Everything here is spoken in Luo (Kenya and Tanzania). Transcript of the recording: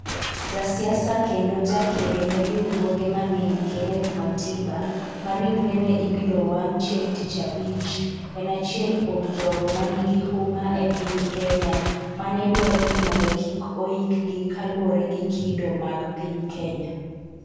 Ja siasa kendo jakedo ne riwroge mang'eny Kenneth Matiba ma ringrene ibiro owang' chieng' tich abich, en achiel kuom jogo manigi huma e piny Kenya manedwaro ni mondo kik oik gi kaluwore gi kido mag piny Kenya.